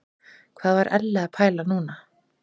Hvað var Elli að pæla núna?